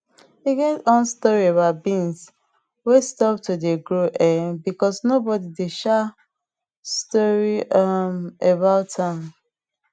e get on story about beans wey stop to dey grow um because nobody dey talk um story um about am